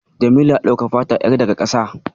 Jamilu ya ɗauki fata yar daga ƙasa.